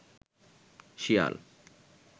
শিয়াল